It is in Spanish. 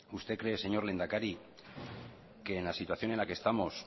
usted cree señor lehendakari que en la situación en la que estamos